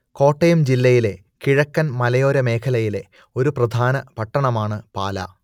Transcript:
കോട്ടയം ജില്ലയിലെ കിഴക്കൻ മലയോര മേഖലയിലെ ഒരു പ്രധാന പട്ടണമാണ് പാലാ